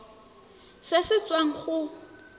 irp se se tswang go